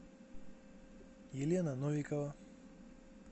елена новикова